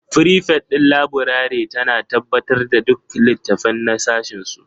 Frifet ɗin laburare tana tabbatar da duk littattafai na sashinsu